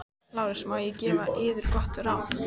LÁRUS: Má ég gefa yður gott ráð?